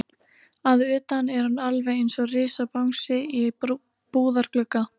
Að utan er hann alveg einsog risabangsi í búðarglugga.